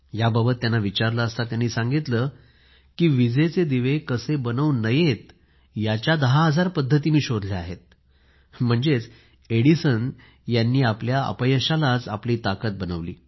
याबाबत त्यांना विचारलं असता त्यांनी सांगितलं की विजेचे दिवे कसे बनवू नयेत याच्या दहा हजार पद्धती मी शोधल्या आहेत म्हणजेच एडिसन यांनी आपल्या अपयशालाच आपली ताकद बनवली